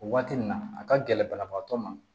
O waati nin na a ka gɛlɛn banabaatɔ ma